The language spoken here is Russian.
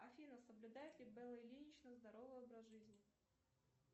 афина соблюдает ли белла ильинична здоровый образ жизни